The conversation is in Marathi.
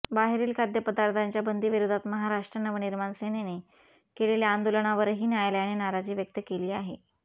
बाहेरील खाद्यपदार्थांच्या बंदीविरोधात महाराष्ट्र नवनिर्माण सेनेने केलेल्या आंदोलनावरही न्यायालयाने नाराजी व्यक्त केली आहे